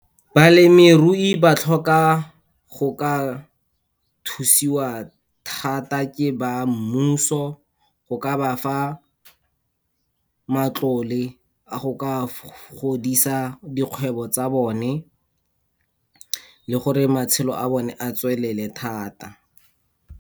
Balemirui ba tlhoka go ka thusiwa thata ke ba mmuso, go ka ba fa matlole a go ka godisa dikgwebo tsa bone le gore matshelo a bone a tswelele thata.